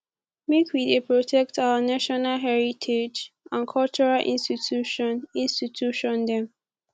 make we dey protect our national heritage and cultural institution institution dem